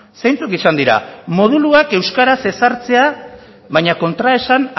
zeintzuk izan dira moduluak euskaraz ezartzea baina kontraesan